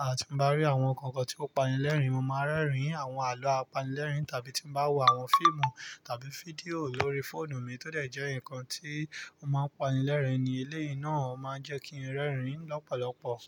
à ti bá rí àwọn nǹkan kan tí ó pani lẹ́rìn, mo máa rẹ́rìn àwọn àlọ́ apanilẹ́rìn tàbí tí mo bá wò àwọn fíìmù tàbí fídíò lórí fóònù mi tó dẹ̀ jẹ́ nǹkan tí ó máa ń pani lẹ́rìn ní eleyi náà o máa ń jẹ́ kí ń rẹ́rìn lọ́pọ̀lọpọ̀